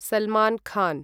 Salman Khan